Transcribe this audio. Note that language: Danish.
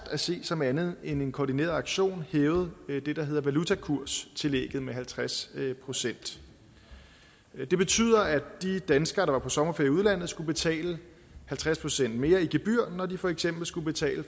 at se som andet end en koordineret aktion hævet det der hedder valutakurstillægget med halvtreds procent det betød at de danskere på sommerferie i udlandet skulle betale halvtreds procent mere i gebyr når de for eksempel skulle betale